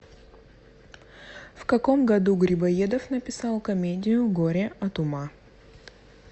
в каком году грибоедов написал комедию горе от ума